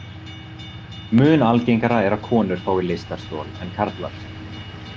Mun algengara er að konur fái lystarstol en karlar.